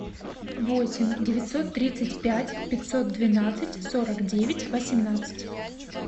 восемь девятьсот тридцать пять пятьсот двенадцать сорок девять восемнадцать